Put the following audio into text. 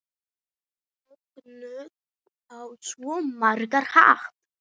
Mögnuð á svo margan hátt.